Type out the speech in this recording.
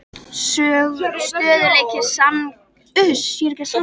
Stöðugleiki sagngeymdar er eitt af grundvallarsannindum þjóðsagnafræði.